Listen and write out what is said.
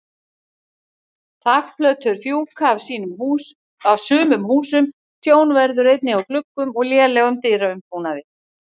Þakplötur fjúka af sumum húsum, tjón verður einnig á gluggum og lélegum dyraumbúnaði.